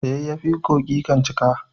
da yayafi kogi kan cika